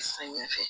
Samiya fɛ